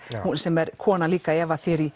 sem er kona líka Eva